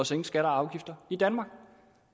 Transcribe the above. sænke skatter og afgifter i danmark